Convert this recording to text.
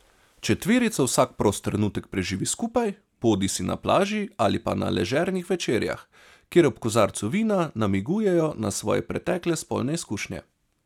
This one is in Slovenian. Četverica vsak prost trenutek preživi skupaj, bodisi na plaži ali pa na ležernih večerjah, kjer ob kozarcu vina namigujejo na svoje pretekle spolne izkušnje.